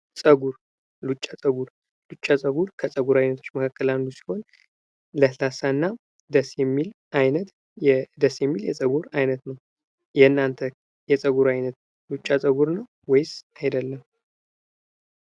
ጸጉር፦ ሉጫ ጸጉር፦ ሉጫ ጸጉር ከጸጉር አይነቶች መካከል አንዱ ሲሆን ለስላሳ እና ደስ የሚል አይነት የጸጉር አይነት ነው። የናንተ የጸጉር አይነት ሉጫ ጸጉር ነው ወይስ አይደለም?